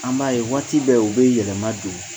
An b'a ye waati bɛɛ u bɛ yɛlɛma don